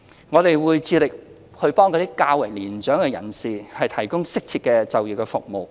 我們會致力為較年長人士提供適切的就業服務。